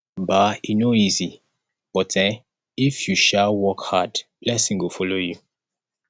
um e no easy but um if you um work hard blessing go follow you